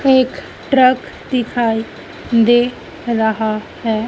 एक ट्रक दिखाई दे रहा है।